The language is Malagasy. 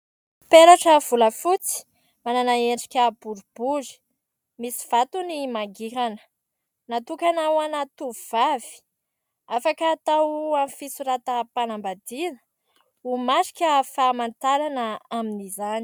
Peratra volafotsy manana endrika boribory, misy vatony mangirana. Natokana ho ana tovovavy, afaka atao amin'ny fisoratam-panambadiana ho marika famantarana amin'izany.